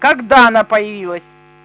когда она появилась